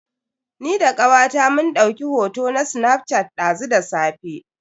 Ni da kawata mun dauki hoto ta snaf shat dazu da safe.